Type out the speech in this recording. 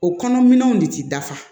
O kɔnɔ minɛnw de ti dafa